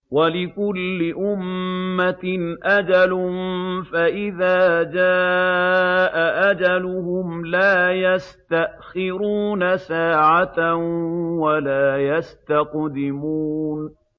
وَلِكُلِّ أُمَّةٍ أَجَلٌ ۖ فَإِذَا جَاءَ أَجَلُهُمْ لَا يَسْتَأْخِرُونَ سَاعَةً ۖ وَلَا يَسْتَقْدِمُونَ